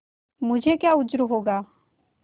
मुझे क्या उज्र होगा